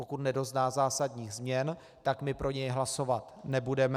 Pokud nedozná zásadních změn, tak my pro něj hlasovat nebudeme.